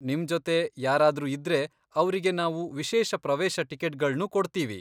ನಿಮ್ಜೊತೆ ಯಾರಾದ್ರೂ ಇದ್ರೆ ಅವ್ರಿಗೆ ನಾವು ವಿಶೇಷ ಪ್ರವೇಶ ಟಿಕೆಟ್ಗಳ್ನೂ ಕೊಡ್ತೀವಿ.